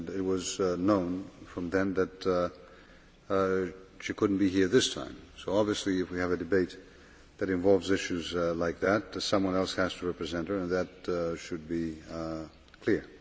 It was known from then that she could not be here this time, so obviously if we have a debate that involves issues like that, someone else has to represent her, and that should be clear.